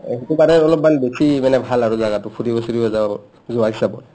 অ, হয়টো তাৰে অলপমান বেছি মানে ভাল জাগাটো ফুৰিব চুৰিব যাব যোৱাৰ হিচাপত